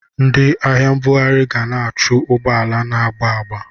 Ndị ahịa mbughari ga na-achụ ụgbọala na-agba agba.